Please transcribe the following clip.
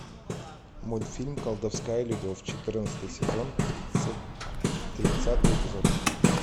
мультфильм колдовская любовь четырнадцатый сезон тридцатый эпизод